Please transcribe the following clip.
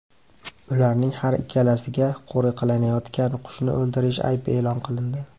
Ularning har ikkalasiga qo‘riqlanayotgan qushni o‘ldirish aybi e’lon qilindi.